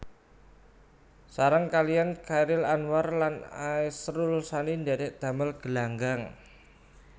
Sareng kaliyan Chairil Anwar lan Asrul Sani ndhèrèk damel Gelanggang